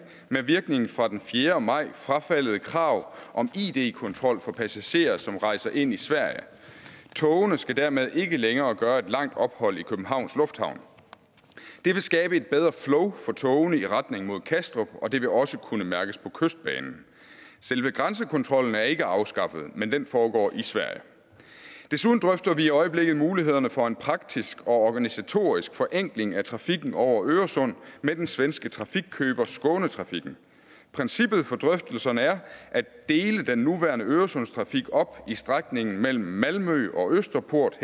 med virkning fra den fjerde maj frafaldet krav om id kontrol for passagerer som rejser ind i sverige togene skal dermed ikke længere gøre et langt ophold i københavns lufthavn det vil skabe et bedre flow for togene i retning mod kastrup og det vil også kunne mærkes på kystbanen selve grænsekontrollen er ikke afskaffet men den foregår i sverige desuden drøfter vi i øjeblikket mulighederne for en praktisk og organisatorisk forenkling af trafikken over øresund med den svenske trafikkøber skånetrafiken princippet for drøftelserne er at dele den nuværende øresundstrafik op i strækningen mellem malmø og østerport